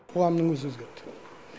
қоғамның өзі өзгерді